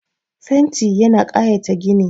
Fenti yana ƙayata gini